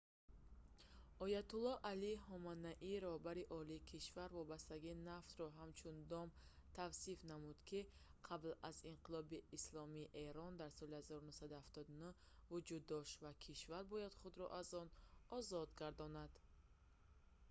оятуллоҳ алии ҳоманаӣ раҳбари олии кишвар вобастагии нафтро ҳамчун «дом» тавсиф намуд ки қабл аз инқилоби исломии эрон дар соли 1979 вуҷуд дошт ва кишвар бояд худро аз он озод гардонад